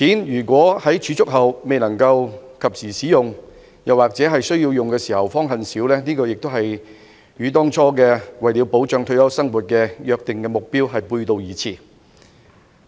如果在儲蓄金錢後未能及時使用，或在有需要時方恨少，這亦與當初保障退休生活的目標背道而馳。